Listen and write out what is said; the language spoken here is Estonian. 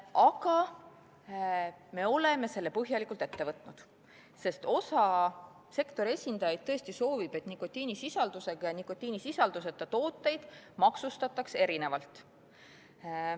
Aga me oleme selle põhjalikult ette võtnud, sest osa sektori esindajaid tõesti soovib, et nikotiinisisaldusega ja nikotiinisisalduseta tooteid maksustataks erinevalt.